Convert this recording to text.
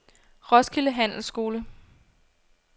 Roskilde Handelsskole